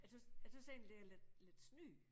Jeg tys jeg tys egentlig det er lidt lidt snyd